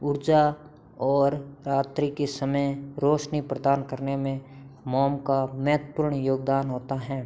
ऊर्जा और रात्री के समय रोशनी प्रदान करने में मोम का महत्वपूर्ण योगदान होता है।